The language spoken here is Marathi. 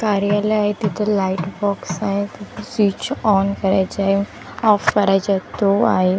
कार्यालय आहे तिथं लाईट बॉक्स आहेत स्वीच ऑन करायच आहे ऑफ करायचे ते आहे.